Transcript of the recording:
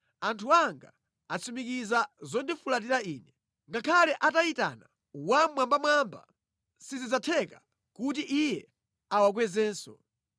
Anthu anga atsimikiza zondifulatira Ine. Ngakhale atayitana Wammwambamwamba, sizidzatheka kuti Iye awakwezenso.